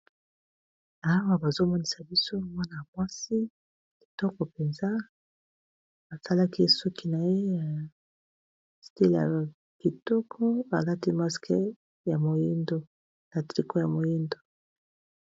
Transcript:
Awa bazo monisa biso mwana mwasi kitoko penza asalaki suki naye style ya kitoko alati masque ya moyindo na tricot ya moyindo.